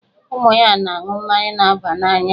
Ụmụ ya na-aṅụ mmanya na-aba n'anya.